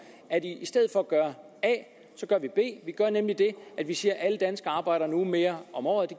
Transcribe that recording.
at i stedet for at gøre a gør vi b nemlig det at vi siger at alle danskere arbejder en uge mere om året